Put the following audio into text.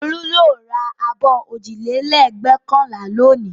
Olú yóò ra abọ́ òjìlélẹ́ẹ̀gbẹ́kànlá lónìí.